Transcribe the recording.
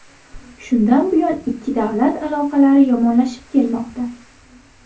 Shundan buyon ikki davlat aloqalari yomonlashib kelmoqda.